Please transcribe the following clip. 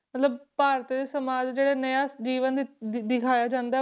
ਮਤਲਬ ਭਾਰਤੀ ਸਮਾਜ ਜਿਹੜਾ ਨਇਆ ਜੀਵਨ ਦਿੱ~ ਦਿਖਾਇਆ ਜਾਂਦਾ ਹੈ,